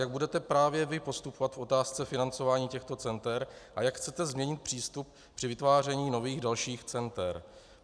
Jak budete právě vy postupovat v otázce financování těchto center a jak chcete změnit přístup při vytváření nových dalších center?